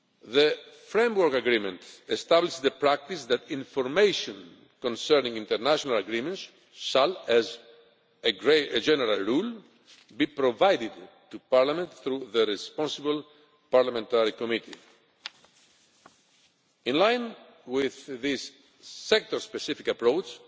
The framework agreement established the practice that information concerning international agreements should, as a general rule, be provided to Parliament through the responsible Parliamentary committee. In line with this sector specific approach,